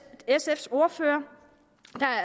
ordfører